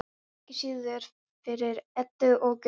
Ekki síður fyrir Eddu og Guðlaug.